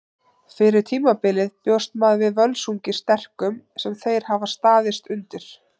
Fyrir tímabilið bjóst maður við Völsungi sterkum sem þeir hafa staðist undir.